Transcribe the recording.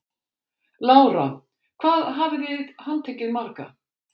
Lára: Hvað hafið þið handtekið marga?